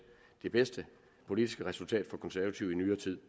det bedste politiske resultat for konservative i nyere tid